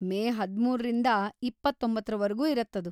ಮೇ ಹದಿಮೂರರಿಂದ ಇಪ್ಪತೊಂಬತ್ತರ ವರ್ಗೂ ಇರತ್ತದು.